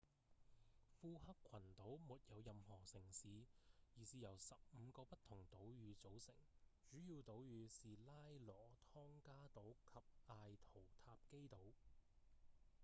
庫克群島沒有任何城市而是由十五個不同島嶼組成主要島嶼是拉羅湯加島及艾圖塔基島